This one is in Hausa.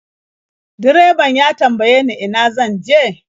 Direban ya tambaye ni ina zan je.